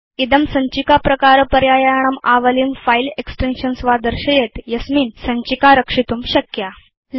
इदं भवन्तं सञ्चिकाप्रकारपर्यायाणाम् आवलिं फिले एक्सटेन्शन्स् वा दर्शयेत् यस्यान्त भवान् सञ्चिकां रक्षितुं शक्नोति